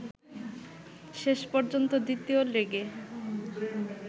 শেষ পর্যন্ত দ্বিতীয় লেগে